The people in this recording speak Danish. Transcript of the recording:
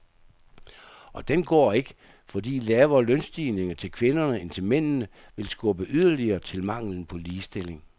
Og den går ikke, fordi lavere lønstigninger til kvinderne end til mændene vil skubbe yderligere til manglen på ligestilling.